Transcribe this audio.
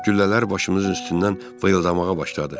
Güllələr başımızın üstündən vıyıldamağa başladı.